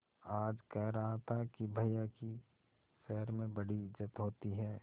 आज कह रहा था कि भैया की शहर में बड़ी इज्जत होती हैं